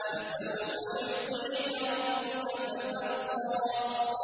وَلَسَوْفَ يُعْطِيكَ رَبُّكَ فَتَرْضَىٰ